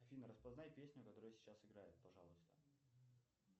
афина распознай песню которая сейчас играет пожалуйста